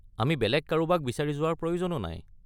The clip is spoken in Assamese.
আমি বেলেগ কাৰোবাক বিচাৰি যোৱাৰ প্ৰয়োজনো নাই।